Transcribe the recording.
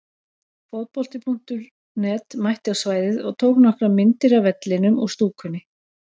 Fótbolti.net mætti á svæðið og tók nokkrar myndir af vellinum og stúkunni.